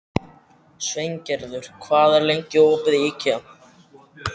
Sveingerður, hvað er lengi opið í IKEA?